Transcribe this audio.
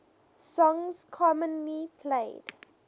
songs commonly played